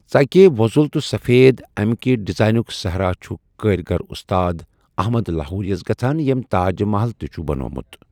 ژَکہِ وۄزُل تہٕ سفید، امہِ کہِ ڈیزائنُک سہرا چھُ کٲرۍ گَر استاد احمد لاہوری یَس گژھان یٔمۍ تاج محل تہِ چھُ بنٲومُت۔